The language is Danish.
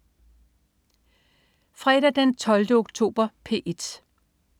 Fredag den 12. oktober - P1: